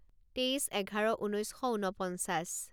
তেইছ এঘাৰ ঊনৈছ শ ঊনপঞ্চাছ